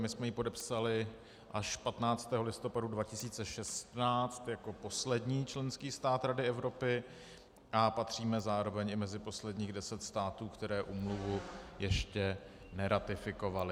My jsme ji podepsali až 15. listopadu 2016 jako poslední členský stát Rady Evropy a patříme zároveň i mezi posledních deset států, které úmluvu ještě neratifikovaly.